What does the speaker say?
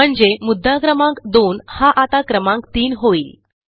म्हणजे मुद्दा क्रमांक 2 हा आता क्रमांक 3 होईल